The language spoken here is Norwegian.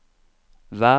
vær